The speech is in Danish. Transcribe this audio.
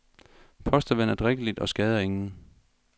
Postevand er drikkeligt og skader ingen.